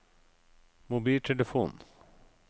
mobiltelefon